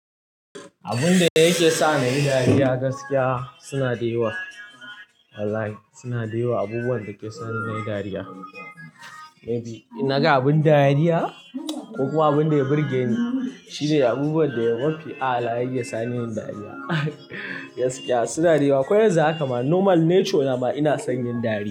Abun da yake sa ni nayi dariya gaskiya suna da yawa. Wallahi suna da yawa abubuwan da ke sa ni nayi dariya. Maybe, in naga abin dariya ko kuma abin da ya burge ni shine abubuwan da mafi a'ala yake sani nayi dariya gaskiya suna da yawa, ko yanzu haka ma normal nature na ma ina son yin dariya.